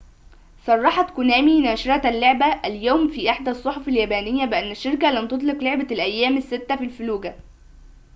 صرحت كونامي ناشرة اللعبة اليوم في إحدى الصحف اليابانية بأن الشركة لن تطلق لعبة االأيام الستة في الفلوجة